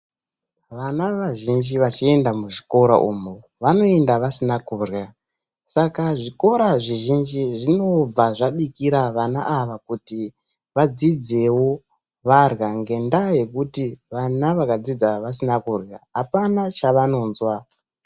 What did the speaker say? Vana vazhinji vachienda muzvikora umo vanoenda vasina kurya saka zvikora zhizhinji zvinobva zvabikira vana ava kuti vadzidzewo varya ngendaa yekuti vana vakadzidza vasina kurya apana chavanozwa.